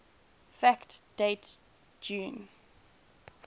fact date june